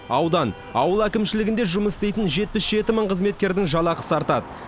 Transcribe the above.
аудан ауыл әкімшілігінде жұмыс істейтін жетпіс жеті мың қызметкердің жалақысы артады